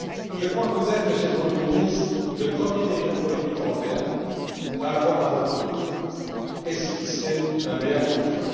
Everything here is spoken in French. Je crois que vous êtes, Monsieur le Premier ministre, le premier dirigeant politique européen à avoir à votre tour esquissé un mea culpa.